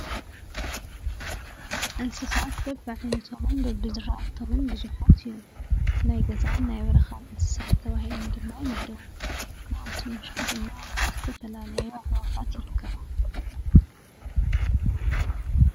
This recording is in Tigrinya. እንስሳት በብዓይነቶምን በብዘርኣቶምን ብዙሓት እዮም፡፡ ናይ ገዛን ናይ በረኻን እንስሳት ተባሂሎም ድማ ይምደቡ፡፡ ካብኣቶም ውሽጢ ድማ ዝተፈላለያ ኣዕዋፋት ይርከባ፡፡